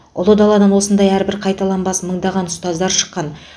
ұлы даладан осындай әрбірі қайталанбас мыңдаған ұстаздар шыққан